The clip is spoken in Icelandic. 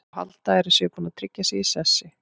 Þá halda þeir að þeir séu búnir að tryggja sig í sessi.